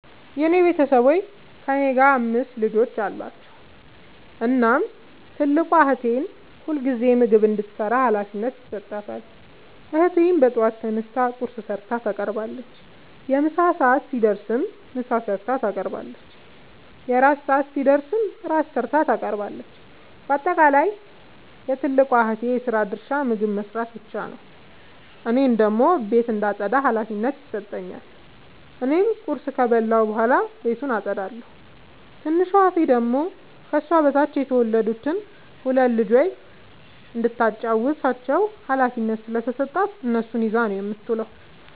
የኔ ቤተሠቦይ ከእኔ ጋር አምስት ልጆች አሏቸዉ። እናም ትልቋን እህቴ ሁልጊዜም ምግብ እንድትሰራ ሀላፊነት ይሠጣታል። እህቴም በጠዋት ተነስታ ቁርስ ሠርታ ታቀርባለች። የምሣ ሰዓት ሲደርስም ምሳ ሠርታ ታቀርባለች። የእራት ሰዓት ሲደርስም ራት ሠርታ ታቀርባለች። ባጠቃለይ የትልቋ እህቴ የስራ ድርሻ ምግብ መስራት ብቻ ነዉ። እኔን ደግሞ ቤት እንዳጠዳ ሀላፊነት ይሠጠኛል። እኔም ቁርስ ከበላሁ በኃላ ቤቱን አጠዳለሁ። ትንሿ እህቴ ደግሞ ከሷ በታች የተወለዱትን ሁለት ልጆይ እንዳታጫዉታቸዉ ሀላፊነት ስለተሠጣት እነሱን ይዛ ነዉ የምትዉለዉ።